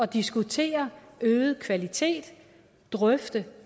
diskutere øget kvalitet drøfte